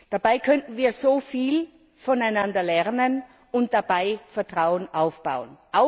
Dabei könnten wir so viel voneinander lernen und dabei Vertrauen aufbauen.